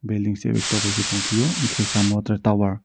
belding sebik tobaike tongpio hingke samo tere tower.